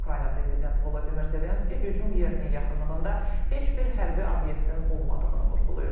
Ukrayna prezidenti Volodimir Zelenski hücum yerinin yaxınlığında heç bir hərbi obyektin olmadığını vurğulayıb.